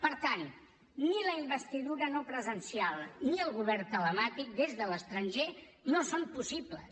per tant ni la investidura no presencial ni el govern telemàtic des de l’estranger no són possibles